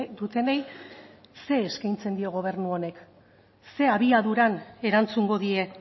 dutenei zer eskaintzen dio gobernu honek zein abiaduran erantzungo die